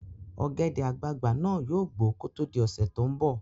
Ọ̀gẹ̀dẹ̀ àgbagbà náà yóò gbó kó tó di ọ̀sẹ́ tó ń bọ̀